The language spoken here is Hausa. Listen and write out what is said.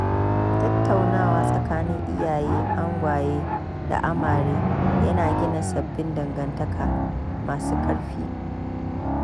Tattaunawa tsakanin iyayen angwaye da amare yana gina sabbin dangantaka masu ƙarfi.